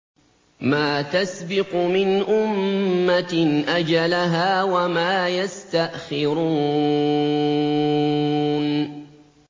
مَّا تَسْبِقُ مِنْ أُمَّةٍ أَجَلَهَا وَمَا يَسْتَأْخِرُونَ